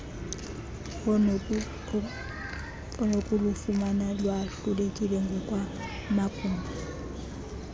onokulufumana lwahlukile ngokwamagumbi